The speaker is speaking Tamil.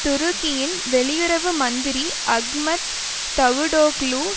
துருக்கியின் வெளியுறவு மந்திரி அஹ்மத் தவுடோக்லு